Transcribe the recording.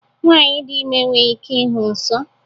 Nwanyị dị ime enweghị ike ịhụ nsọ